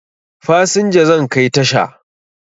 Fasinja zan kai tasha